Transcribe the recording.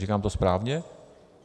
Říkám to správně?